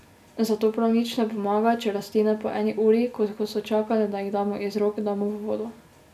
Zato prav nič ne pomaga, če rastline po eni uri, ko so čakale, da jih damo iz rok, damo v vodo.